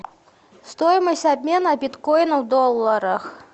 стоимость обмена биткоина в долларах